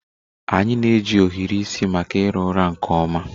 Anyị na-eji ohiri isi maka ira ụra nke ọma.